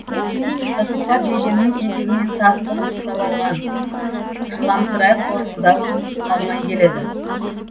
тасболат жейдемнің етегінен тас қылып ұстап алған жыламсырай қорсылдап қалмай келеді